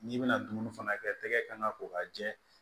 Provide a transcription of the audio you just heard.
N'i bɛna dumuni fana kɛ tɛgɛ kan ka ko ka jɛ